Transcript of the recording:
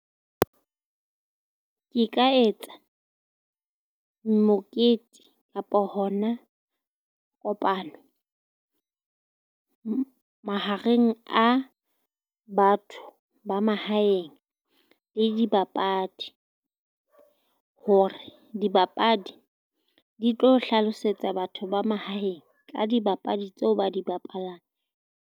Ke ka etsa mokete kapa hona kopano mahareng a batho ba mahaeng le dibapadi. Hore dibapadi di tlo hlalosetsa batho ba mahaeng ka dibapadi tseo ba di bapalang.